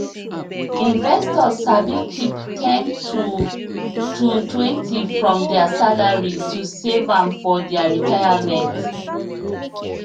investors sabi keep ten to totwentyfrom their salary to save am for their retirement